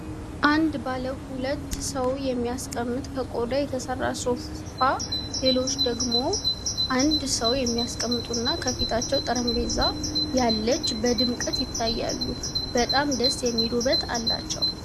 አንድ ባለው ሁለት ሰው የሚያስቀምጥ ከቆዳ የተሰራ ሶፋ ሌሎች ደግሞ አንድ ሰው የሚያስቀምጡ እና ከፈታቸው ጠረጴዛ ያለች በድምቀት ይታያሉ በጣም ደስ የሚል ውበት አላቸው።